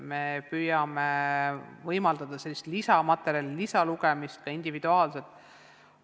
Me püüame võimaldada lisamaterjali, ka individuaalset lisalugemist.